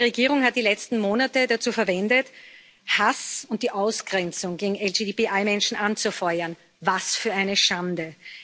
Die polnische Regierung hat die letzten Monate dazu verwendet, Hass und die Ausgrenzung gegen LGBTI Menschen anzufeuern. Was für eine Schande!